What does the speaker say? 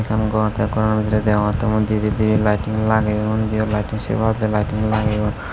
yen gor tey gorano bidiredi deongottey mui dihiteti laittun lageyon undiyo laittun se barediyo laittun lageyon.